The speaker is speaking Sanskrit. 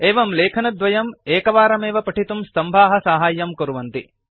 एवं लेखनद्वयं एकवारमेव पठितुं स्तम्भाः साहाय्यं कुर्वन्ति